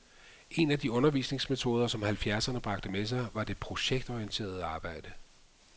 En af de undervisningsmetoder, som halvfjerdserne bragte med sig, var det projektorienterede arbejde.